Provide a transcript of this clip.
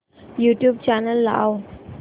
YouTube channel लाव